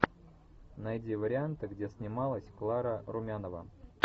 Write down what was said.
найди варианты где снималась клара румянова